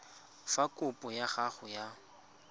fa kopo ya gago ya